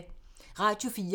Radio 4